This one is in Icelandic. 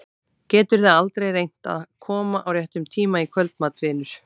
Geturðu aldrei reynt að koma á réttum tíma í kvöldmat, vinur?